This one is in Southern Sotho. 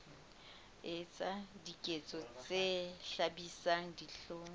etsa diketso tse hlabisang dihlong